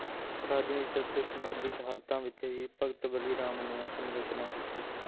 ਰਾਜਨੀਤਕ ਤੇ ਸਮਾਜਿਕ ਹਾਲਤਾਂ ਵਿੱਚ ਹੀ ਭਗਤ ਵਲੀ ਰਾਮ ਨੇ ਆਪਣੀ ਰਚਨਾ ਕੀਤੀ